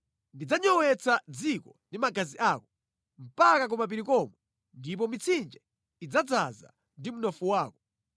Ndidzanyowetsa dziko ndi magazi ako, mpaka kumapiri komwe, ndipo mitsinje idzadzaza ndi mnofu wako.